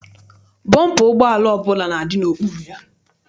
Bọmpa ụgbọala ọbụla na-adị n'okpuru ya.